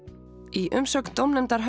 í umsögn dómnefndar